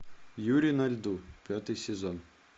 юри на льду пятый сезон